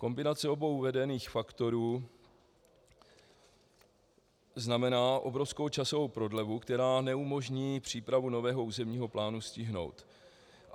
Kombinace obou uvedených faktorů znamená obrovskou časovou prodlevu, která neumožní přípravu nového územního plánu stihnout.